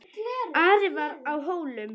Ari var á Hólum.